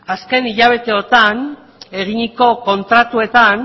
azken hilabeteotan eginiko kontratuetan